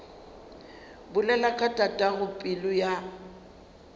bolela ka tatago pelo ya